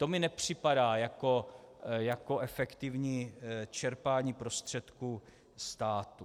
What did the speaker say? To mi nepřipadá jako efektivní čerpání prostředků státu.